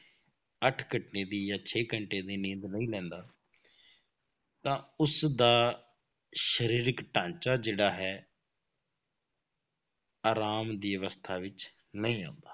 ਅੱਠ ਘੰਟੇ ਦੀ ਜਾਂ ਛੇ ਘੰਟੇ ਦੀ ਨੀਂਦ ਨਹੀਂ ਲੈਂਦਾ ਤਾਂ ਉਸਦਾ ਸਰੀਰਕ ਢਾਂਚਾ ਜਿਹੜਾ ਹੈ ਆਰਾਮ ਦੀ ਅਵਸਥਾ ਵਿੱਚ ਨਹੀਂ ਆਉਂਦਾ।